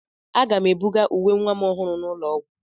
Aga m ebuga uwe nwa ọhụrụ n'ụlọ ọgwụ.